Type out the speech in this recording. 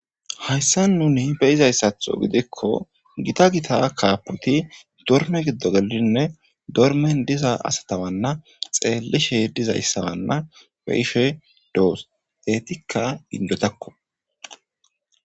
hayssa nuni beyizayssatho gidikko gita gita kaapoti dorme giddo gelinne dormen diza asatawanna xeellishe diza issawanna pe7ife doos eetikka indotakko.